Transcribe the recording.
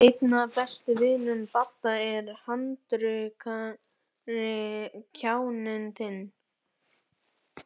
Einn af bestu vinum Badda er handrukkari, kjáninn þinn.